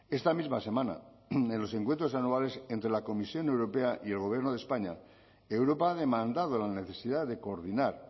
esta misma semana en los encuentros anuales entre la comisión europea y el gobierno de españa europa ha demandado la necesidad de coordinar